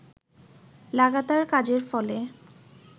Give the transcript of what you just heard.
লাগাতার কাজের ফলে